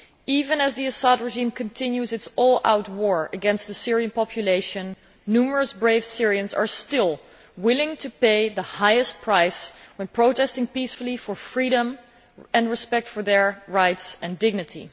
Even as the Assad regime continues its all out war against the Syrian population, numerous brave Syrians are still willing to pay the highest price when protesting peacefully for freedom and respect for their rights and dignity.